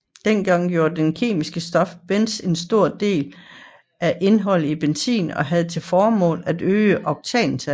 Dengang udgjorde det kemiske stof benzen en stor del af indholdet i benzin og havde til formål at øge oktantallet